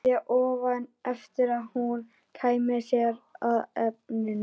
Beið í ofvæni eftir að hún kæmi sér að efninu.